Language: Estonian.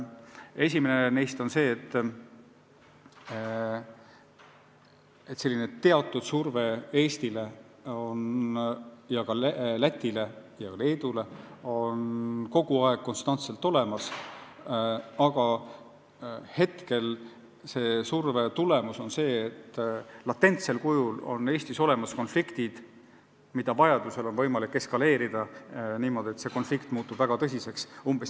Esimene neist on see, et teatud surve Eestile ja ka Lätile ja Leedule on kogu aeg olemas, aga selle surve tulemus on see, et latentsel kujul on Eestis konfliktid olemas ja vajadusel on võimalik olukorda eskaleerida niimoodi, et mõni konflikt muutub väga tõsiseks.